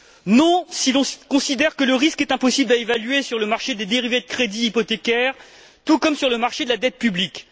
Non, si l'on considère que le risque est impossible à évaluer sur le marché des dérivés de crédits hypothécaires, tout comme sur le marché de la dette publique.